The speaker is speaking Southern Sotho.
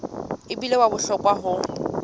e bile wa bohlokwa ho